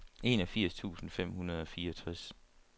enogfirs tusind fem hundrede og fireogtres